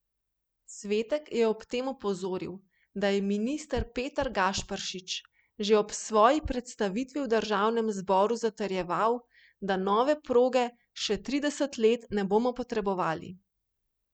Svetek je ob tem opozoril, da je minister Peter Gašperšič že ob svoji predstavitvi v državnem zboru zatrjeval, da nove proge še trideset let ne bomo potrebovali.